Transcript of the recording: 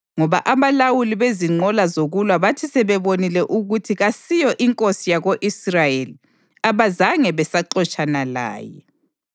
ngoba abalawuli bezinqola zokulwa bathi sebebonile ukuthi kasiyo inkosi yako-Israyeli, abazange besaxotshana laye.